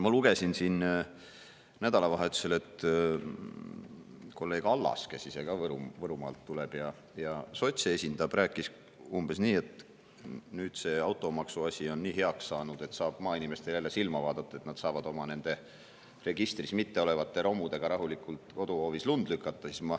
Ma lugesin nädalavahetusel, et kolleeg Allas, kes ise ka Võrumaalt tuleb ja sotse esindab, rääkis umbes nii, et nüüd on see automaksu asi nii heaks saanud, et saab maainimestele jälle silma vaadata, nad saavad oma registris mitteolevate romudega rahulikult koduhoovis lund lükata.